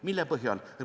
Mille põhjal?